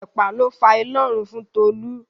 Ẹ̀pà ló fa inárun fún Tolú.